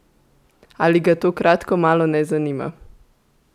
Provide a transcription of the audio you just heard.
Ali ga to kratko malo ne zanima?